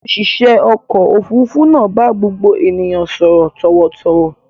Òṣìṣẹ́ ọkọ̀-òfurufú náà bá gbogbo ènìyàn sọ̀rọ̀ tọ̀wọ̀tọ̀wọ̀.